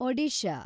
Odisha